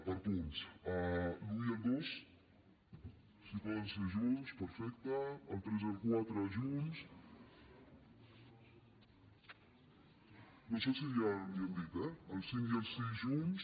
per punts l’un i el dos si poden ser junts perfecte el tres i el quatre junts no sé si ja li han dit eh el cinc i el sis junts